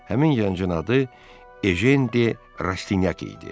Həmin gəncun adı Edi Radidi.